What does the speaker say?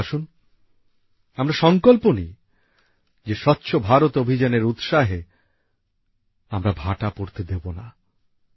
তাহলে আসুন আমরা সংকল্প নিই যে স্বচ্ছ ভারত অভিযানের উৎসাহে আমরা ভাটা পড়তে দেবো না